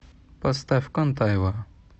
поставь контаева